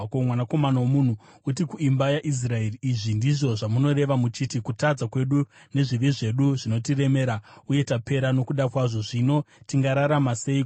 “Mwanakomana womunhu, uti kuimba yaIsraeri, ‘Izvi ndizvo zvamunoreva muchiti, “Kutadza kwedu nezvivi zvedu zvinotiremera, uye tapera nokuda kwazvo. Zvino tingararama seiko?” ’